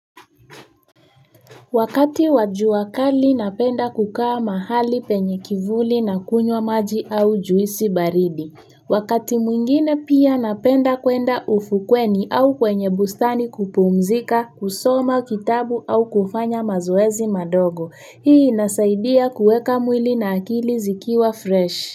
Wakati wa jua kali napenda kukaa mahali penye kivuli na kunywa maji au juisi baridi. Wakati mwingine pia napenda kwenda ufukweni au kwenye bustani kupumzika, kusoma kitabu au kufanya mazoezi madogo. Hii inasaidia kuweka mwili na akili zikiwa fresh.